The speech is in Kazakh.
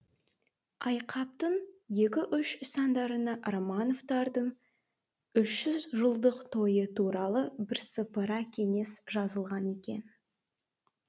айқаптың екі үш сандарында романовтардың үш жүз жылдық тойы туралы бірсыпыра кеңес жазылған екен